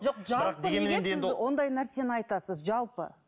жоқ жалпы неге сіз ондай нәрсені айтасыз жалпы